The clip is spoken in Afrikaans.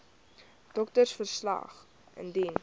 doktersverslag wcl indien